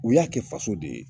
U y'a kɛ faso de ye